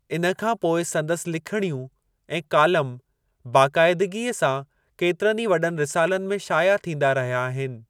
इन खां पोइ संदसि लिखिणियूं ऐं कालम बाक़ायदगीअ सां केतिरनि ई वॾनि रिसालनि में शाया थींदा रहिया आहिनि।